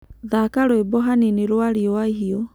Thaka rwĩmbo hanĩnĩ rwa rĩũa ĩhĩũ